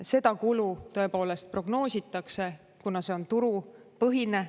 Seda kulu tõepoolest prognoositakse, kuna see on turupõhine.